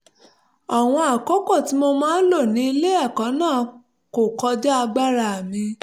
àwọn àkókò tí mo máa ń lò ní ilé ẹ̀kọ́ náà kò kọjá agbára mi